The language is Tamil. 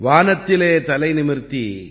வானத்திலே தலைநிமிர்த்தி